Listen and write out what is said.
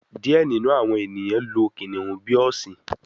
Diẹ ninu awọn eniyan lo kiniun bi ọsin